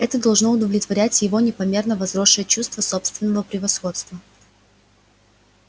это должно удовлетворять его непомерно возросшее чувство собственного превосходства